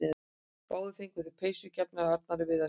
Báðir fengu þeir peysur gefnar af Arnari Viðarssyni.